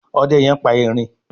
Òde yén pá ẹrin.